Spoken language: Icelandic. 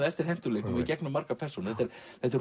eftir hentugleikum í gegnum margar persónur þetta